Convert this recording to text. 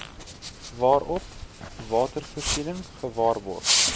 waarop watervoorsiening gewaarborg